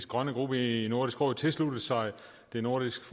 grønne gruppe i nordisk råd tilsluttet sig det nordiske